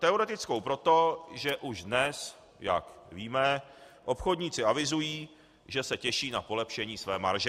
Teoretickou proto, že už dnes, jak víme, obchodníci avizují, že se těší na polepšení své marže.